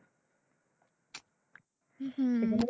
হম